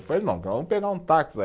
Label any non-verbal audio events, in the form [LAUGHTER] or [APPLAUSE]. Eu falei, não, vamos pegar um táxi [UNINTELLIGIBLE]